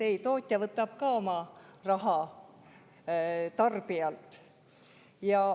Ei, tootja võtab ka oma raha tarbijalt.